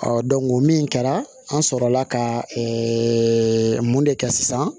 min kɛra an sɔrɔla ka mun de kɛ sisan